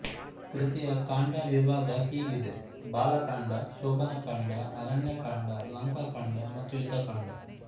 ಕೃತಿಯ ಕಾಂಡವಿಭಾಗ ಹೀಗಿದೆ ಬಾಲಕಾಂಡ ಶೋಭನಕಾಂಡ ಅರಣ್ಯಕಾಂಡ ಲಂಕಾಕಾಂಡ ಮತ್ತು ಯುದ್ಧಕಾಂಡ